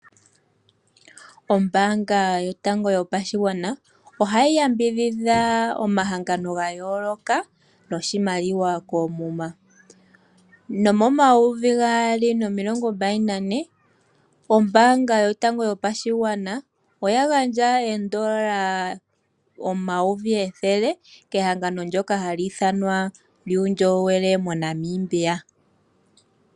Ombaanga yotango yopashigwana ohayi yambidhidha omahangano ga yoolokathana, noshimaliwa koomuma. Nomomayovi gaali nomilongo mbali nane, ombaanga yotango yopashigwana, oya gandja oondola omayovi ethele, kehangano ndjoka hali ithanwa ehangano lyuundjolowele moNamibia.